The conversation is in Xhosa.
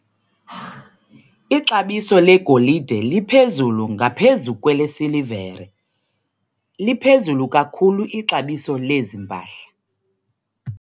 Ixabiso legolide liphezulu ngaphezu kwelesilivere. liphezulu kakhulu ixabiso lezi mpahla.